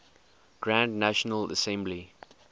grand national assembly